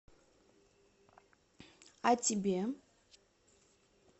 а тебе